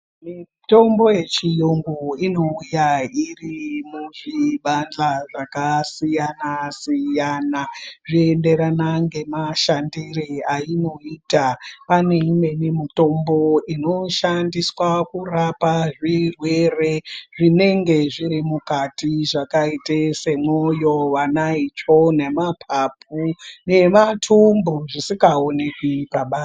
Mitombo yechiyungu inouya iri muzvibandla zvakasiyana-siyana, zvoenderana ngemashandire ainoita. Pane imweni mutombo inoshandiswa kurapa zvirwere, zvinenge zviri mukati zvakaite semwoyo vanaitsvo, nemaphaphu nemathumbu zvisikaoneki pabanze.